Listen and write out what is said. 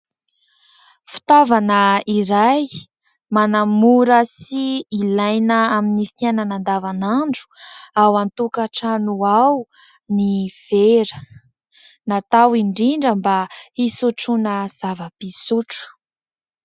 Fitaovana iray manamora sy ilaina amin'ny fiainana andavanandro ao an-tokantrano ao ny vera ; natao indrindra mba hisotroana zava-pisotro.